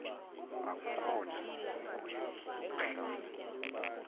akukhona sikweni ukuhlala